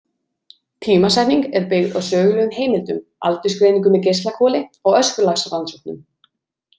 Tímasetning er byggð á sögulegum heimildum, aldursgreiningu með geislakoli og öskulagsrannsóknum.